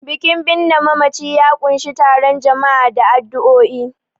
Bikin binne mamaci ya ƙunshi taron jama'a da addu'o'i.